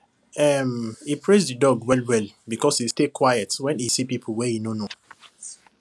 um he praise the dog well well because e stay quiet when e see people wey e no know